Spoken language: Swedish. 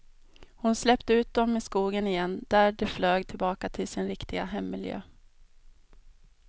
Hon släppte ut dem i skogen igen, där de flög tillbaka till sin riktiga hemmiljö.